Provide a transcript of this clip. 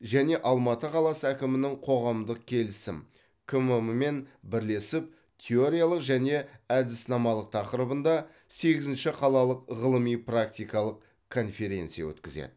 және алматы қаласы әкімінің коғамдық келісім кмм мен бірлесіп теориялық және әдіснамалық тақырыбында сегізінші қалалық ғылыми практикалық конференция өткізеді